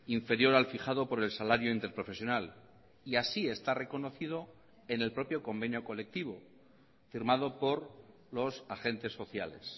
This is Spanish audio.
inferior al fijado por el salario interprofesional y así está reconocido en el propio convenio colectivo firmado por los agentes sociales